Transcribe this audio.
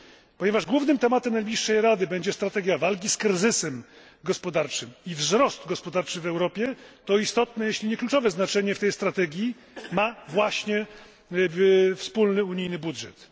Ponieważ głównym tematem najbliższej Rady będzie strategia walki z kryzysem gospodarczym i wzrost gospodarczy w Europie, to istotne jeśli nie kluczowe znaczenie w tej strategii ma właśnie wspólny unijny budżet.